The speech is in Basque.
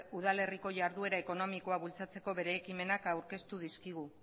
udalerriko jarduera ekonomikoa bultzatzeko bere ekimenak aurkeztu dizkigu